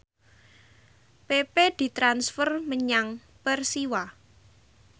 pepe ditransfer menyang Persiwa